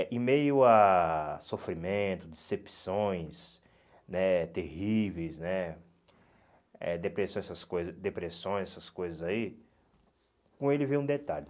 Eh em meio a sofrimento, decepções né terríveis né, eh depressão essas coisas depressões, essas coisas aí, com ele vem um detalhe.